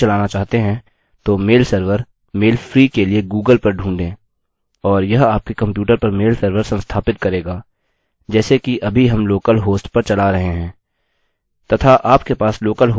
यदि आप अपने कम्प्यूटर पर मेल सर्वर नहीं चलाना चाहते हैं तो मेल सर्वर मेल फ्री के लिए गूगल पर ढ़ूंढें और यह आपके कम्प्यूटर पर मेल सर्वर संस्थापित करेगा जैसे कि अभी हम लोकल होस्ट पर चला रहे हैं